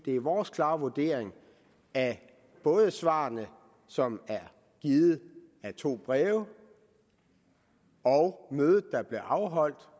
er vores klare vurdering at både svarene som er givet i to breve og mødet der blev afholdt